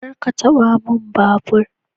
Kar ka taba man babur.